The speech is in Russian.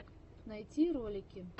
найти ролики